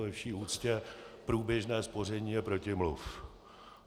Ve vší úctě: průběžné spoření je protimluv.